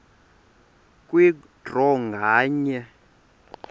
kwe draw nganye